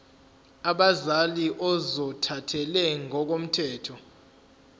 abazali ozothathele ngokomthetho